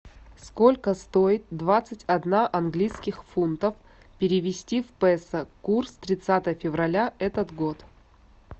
сколько стоит двадцать одна английских фунтов перевести в песо курс тридцатое февраля этот год